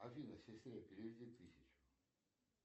афина сестре переведи тысячу